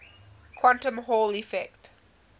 quantum hall effect